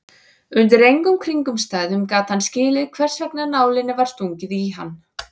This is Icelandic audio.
Undir engum kringumstæðum gat hann skilið hversvegna nálinni var stungið í hann.